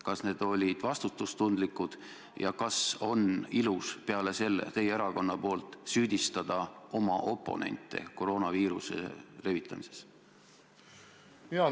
Kas need olid vastutustundlikud ja kas teie erakonnast on ilus pärast seda süüdistada oma oponente koroonaviiruse levitamises?